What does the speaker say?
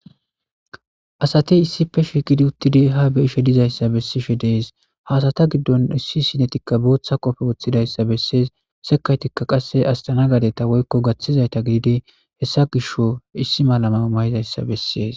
asati issipe shiqidi uttidi ha be'ishe dizayssa bessishe dees ha asata giddon issi sinetikka booththa qofe woththidayssa bessees sekaytikka qasse astanagajetta woykko gaththizayta gididi hessa gisho issi mala mayo mayidayssa bessees